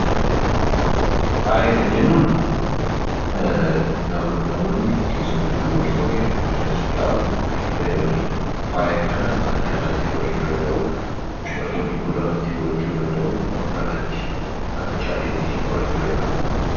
Faaya kan jennuun namoonni keessattuu dubartoonni of miidhagsuudhaaf kan itti fayyadamanidha . Faaya kana harkarratti, gurrarratti, mormatti Akka calleetti godhachuu danda'u